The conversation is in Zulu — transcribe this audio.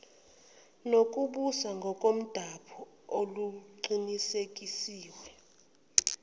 nokubusa ngokomdabu oluqinisekiswe